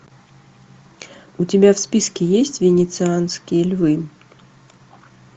у тебя в списке есть венецианские львы